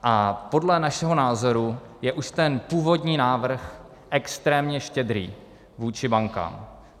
A podle našeho názoru je už ten původní návrh extrémně štědrý vůči bankám.